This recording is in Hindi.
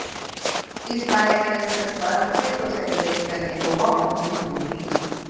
इस बार एक्ट्रेस अपने बर्थडे को सेलिब्रेट करने गोवा पहुंची हुईं थी